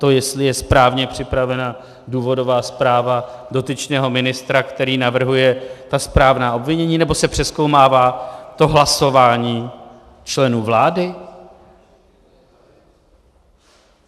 To, jestli je správně připravena důvodová zpráva dotyčného ministra, který navrhuje ta správná obvinění, nebo se přezkoumává to hlasování členů vlády?